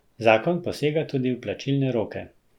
Zakon posega tudi v plačilne roke.